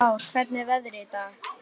Lár, hvernig er veðrið í dag?